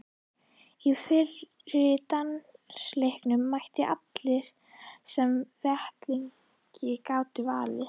Á fyrri dansleikinn mættu allir sem vettlingi gátu valdið.